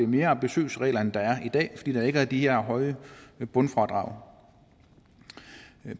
mere ambitiøse regler end der er i dag fordi der ikke er de her høje bundfradrag